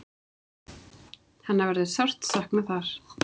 Hennar verður sárt saknað þar.